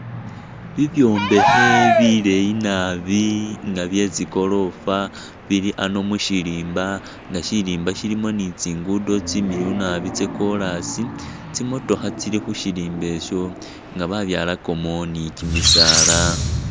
Bibyombekhe bileeyi naabi nga bye’tsigorofa bili ano mushirimba nga shirimba shilimo ni’tsingudo tsimiliyu naabi tsa korasi tsi mutokha tsili khusirimba isho nga babyalakamo ni kimisaala .